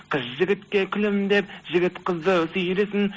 қыз жігітке күлімдеп жігіт қызды сүйресін